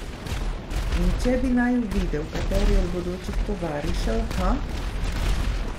In če bi naju videl kateri od bodočih tovarišev, ha?